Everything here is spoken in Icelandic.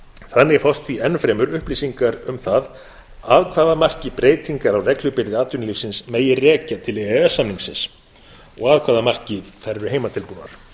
þannig fást því enn fremur upplýsingar um það að hvaða marki breytingar á reglubyrði atvinnulífsins megi rekja til e e s samningsins og að hvaða marki þær eru heimatilbúnar